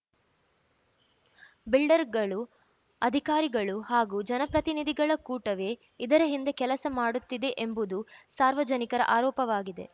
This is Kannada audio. ಬಿಲ್ಡರ್‌ಗಳು ಅಧಿಕಾರಿಗಳು ಹಾಗೂ ಜನಪ್ರತಿನಿಧಿಗಳ ಕೂಟವೇ ಇದರ ಹಿಂದೆ ಕೆಲಸ ಮಾಡುತ್ತಿದೆ ಎಂಬುದು ಸಾರ್ವಜನಿಕರ ಆರೋಪವಾಗಿದೆ